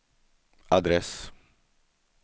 adress